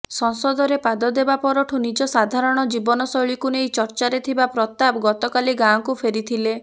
ସଂସଦରେ ପାଦ ଦେବା ପରଠୁ ନିଜ ସାଧାରଣ ଜୀବନଶୈଳୀକୁ ନେଇ ଚର୍ଚ୍ଚାରେ ଥିବା ପ୍ରତାପ ଗତକାଲି ଗାଁକୁ ଫେରିଥିଲେ